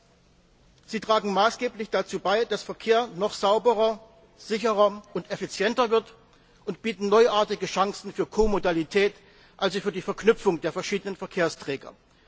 Zweitens tragen sie maßgeblich dazu bei, dass Verkehr noch sauberer, sicherer und effizienter wird, und bieten neuartige Chancen für Ko Modalität, also für die Verknüpfung der verschiedenen Verkehrsträger.